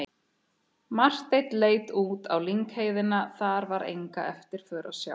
Marteinn leit út á lyngheiðina, þar var enga eftirför að sjá.